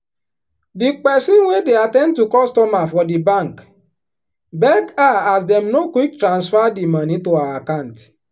di peson wey dey at ten d to customer for di bank beg her as dem no quick transfer di moni to her account.